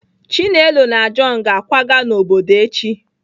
Chinelo na john ga-akwaga n'obodo echi.